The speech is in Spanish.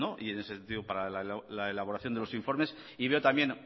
y en ese sentido para la elaboración de los informes y veo también